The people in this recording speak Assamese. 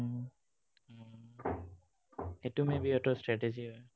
এইটো maybe সিহঁতৰ strategy হয়।